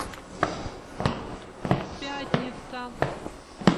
пятница